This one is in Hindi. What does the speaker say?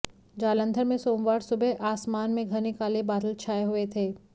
जालंधर में सोमवार सुबह आसमान में घने काले बादल छाए हुए थे